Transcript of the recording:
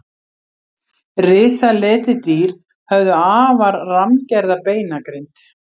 Risaletidýr höfðu afar rammgerða beinagrind.